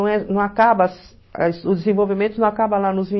não acabas o desenvolvimento não acaba lá nos